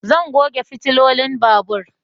Zan goge fitilolin babur